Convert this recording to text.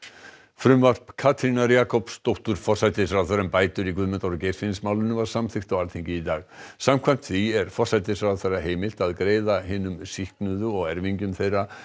frumvarp Katrínar Jakobsdóttur forsætisráðherra um bætur í Guðmundar og Geirfinnsmálinu var samþykkt á Alþingi í dag samkvæmt því er forsætisráðherra heimilt að greiða hinum sýknuðu og erfingjum þeirra